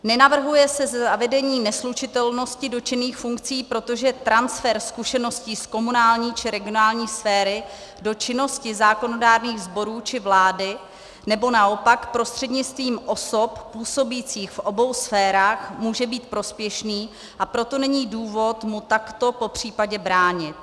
Nenavrhuje se zavedení neslučitelnosti dotčených funkcí, protože transfer zkušeností z komunální či regionální sféry do činnosti zákonodárných sborů či vlády nebo naopak prostřednictvím osob působících v obou sférách může být prospěšný, a proto není důvod mu takto popřípadě bránit.